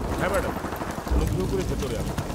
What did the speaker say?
হ্যাঁ, ম্যাডাম, অনুগ্রহ করে ভিতরে আসুন।